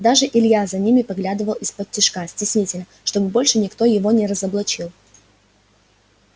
даже илья за ними поглядывал исподтишка стеснительно чтобы больше никто его не разоблачил